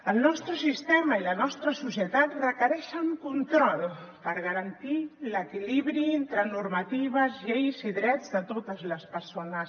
el nostre sistema i la nostra societat requereixen control per garantir l’equilibri entre normatives lleis i drets de totes les persones